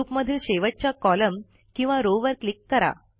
group मधील शेवटच्या column किंवा रॉव वर क्लिक करा